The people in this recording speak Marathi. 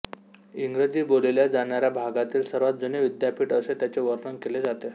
इंग्रजी बोलल्या जाणाऱ्या भागातील सर्वांत जुने विद्यापीठ असे त्याचे वर्णन केले जाते